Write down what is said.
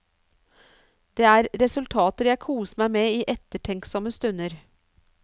Det er resultater jeg koser meg med i ettertenksomme stunder.